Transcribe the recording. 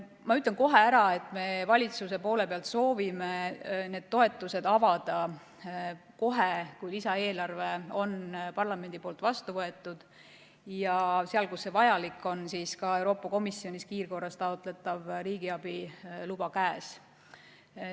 Ma ütlen kohe ära, et me valitsuses soovime need toetused avada kohe, kui lisaeelarve on parlamendi poolt vastu võetud, ja seal, kus see vajalik on, ka Euroopa Komisjonist kiirkorras taotletav riigiabi luba käes.